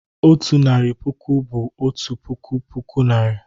Otu narị puku bụ "otu puku puku Naịra."